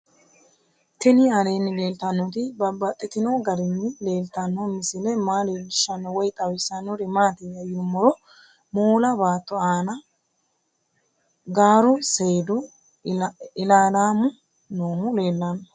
Tinni aleenni leelittannotti babaxxittinno garinni leelittanno misile maa leelishshanno woy xawisannori maattiya yinummoro moola baatto aanna gaaru seedu ilaallammu noohu leelanno